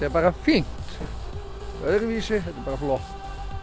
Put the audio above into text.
er bara fínt öðruvísi þetta er bara flott